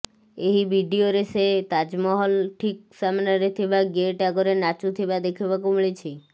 ଏହି ଭିଡିଓରେ ସେ ତାଜମହଲ ଠିକ୍ ସାମ୍ନାରେ ଥିବା ଗେଟ୍ ଆଗରେ ନାଚୁଥିବା ଦେଖିବାକୁ ମିଳିଛି